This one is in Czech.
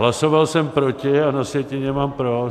Hlasoval jsem proti, a na sjetině mám pro.